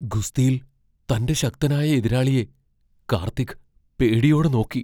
ഗുസ്തിയിൽ തന്റെ ശക്തനായ എതിരാളിയെ കാർത്തിക് പേടിയോടെ നോക്കി.